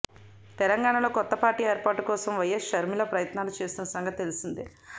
తెలంగాణలో కొత్త పార్టీ ఏర్పాటు కోసం వైఎస్ షర్మిల ప్రయత్నాలు చేస్తున్న సంగతి తెలిసిందే